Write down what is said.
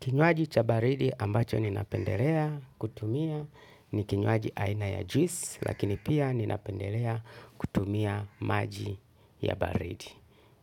Kinywaji cha baridi ambacho ninapendelea kutumia ni kinywaji aina ya juice lakini pia ninapendelea kutumia maji ya baridi.